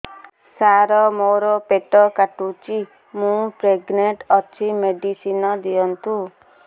ସାର ମୋର ପେଟ କାଟୁଚି ମୁ ପ୍ରେଗନାଂଟ ଅଛି ମେଡିସିନ ଦିଅନ୍ତୁ